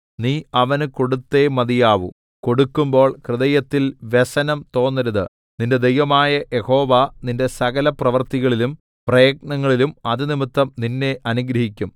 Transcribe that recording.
നീ അവന് കൊടുത്തേ മതിയാവൂ കൊടുക്കുമ്പോൾ ഹൃദയത്തിൽ വ്യസനം തോന്നരുത് നിന്റെ ദൈവമായ യഹോവ നിന്റെ സകലപ്രവൃത്തികളിലും പ്രയത്നത്തിലും അതുനിമിത്തം നിന്നെ അനുഗ്രഹിക്കും